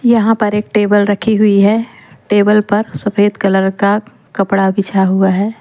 यहां पर एक टेबल रखी हुई है टेबल पर एक सफेद कलर का कपड़ा बिछा हुआ है।